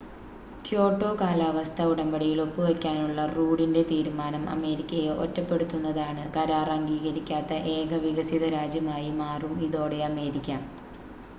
Kyoto കാലാവസ്ഥാ ഉടമ്പടിയിൽ ഒപ്പുവെക്കാനുള്ള റൂഡിൻ്റെ തീരുമാനം അമേരിക്കയെ ഒറ്റപ്പെടുത്തുന്നതാണ് കരാർ അംഗീകരിക്കാത്ത ഏക വികസിത രാജ്യമായി മാറും ഇതോടെ അമേരിക്ക